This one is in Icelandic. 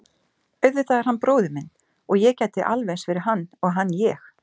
Auðvitað er hann bróðir minn og ég gæti alveg eins verið hann og hann ég.